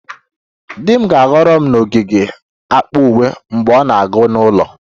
Di m ga-ahọrọ m n'ogige akpa uwe mgbe ọ na-aga n'ụlọ